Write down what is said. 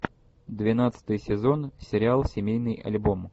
двенадцатый сезон сериал семейный альбом